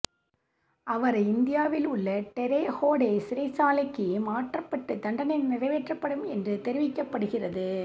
அவரை இந்தியானாவில் உள்ள டெரே ஹோடே சிறைச்சாலைக்கு மாற்றப்பட்டு தண்டனை நிறைவேற்றப்படும் என்று தெரிவிக்கப்படுகிறது